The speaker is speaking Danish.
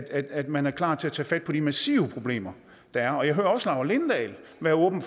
at man er klar til at tage fat på de massive problemer der er jeg hører også fru laura lindahl være åben